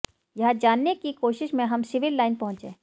यह जानने की कोशिश में हम सिविल लाइन पहुंचे